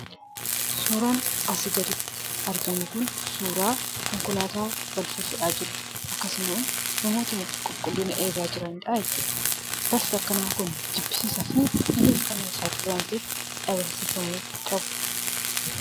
Suuraa kanaa gadii irratti kan argamu kun suuraa konkolaataa balfa fe'aa jiruu dha. Akkasumas namoota qulqullina eegan waliin kan jiru ta'ee; balfi akkanaa Kun rakkoo fayyaaf kan nama saaxilu waan ta'eef dhabamsiifamuu qabu.